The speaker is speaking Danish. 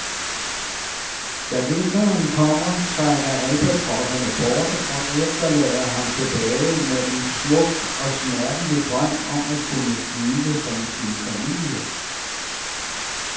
Da vinteren kommer trækker albatroserne bort, og efterlader ham tilbage med en smuk og smertelig drøm om at kunne flyve som sin familie.